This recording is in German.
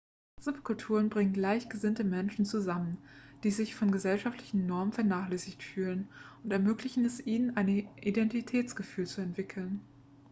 subkulturen bringen gleichgesinnte menschen zusammen die sich von gesellschaftlichen normen vernachlässigt fühlen und ermöglichen es ihnen ein identitätsgefühl zu entwickeln